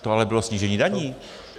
To ale bylo snížení daní.